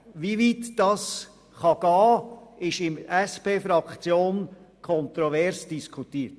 Wie weit das gehen kann, wird innerhalb der SP-JUSO-PSA-Fraktion kontrovers diskutiert.